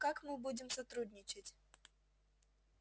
как мы будем сотрудничать